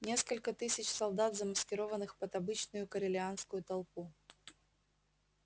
несколько тысяч солдат замаскированных под обычную корелианскую толпу